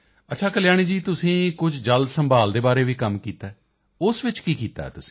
ਅੱਛਾ ਕਲਿਆਣੀ ਜੀ ਤੁਸੀਂ ਕੁਝ ਜਲ ਸੰਭਾਲ ਦੇ ਬਾਰੇ ਵੀ ਕੰਮ ਕੀਤਾ ਹੈ ਉਸ ਵਿੱਚ ਕੀ ਕੀਤਾ ਹੈ ਤੁਸੀਂ